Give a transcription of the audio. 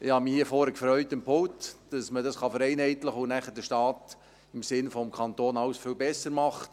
Ich habe mich hier vorne am Pult gefreut, dass man dies vereinheitlichen kann und der Staat nachher im Sinn des Kantons alles viel besser macht.